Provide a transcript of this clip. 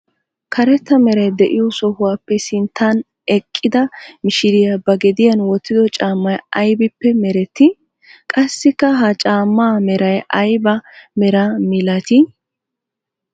Karetta meray de'iyo sohuwappe sinttan eqidda mishiriyaa ba gediyan wottido cammay aybbippe meretti? Qassikka ha cammaa meray aybba meraa milatti?